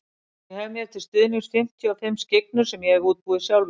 Ég hef mér til stuðnings fimmtíu og fimm skyggnur sem ég hef útbúið sjálfur.